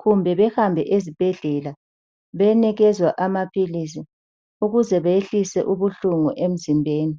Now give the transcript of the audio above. kumbe behambe ezibhedlela benikezwa amaphilizi ukuze behlise ubuhlungu emzimbeni.